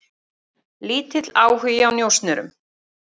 Kári fékk fjögurra leikja bann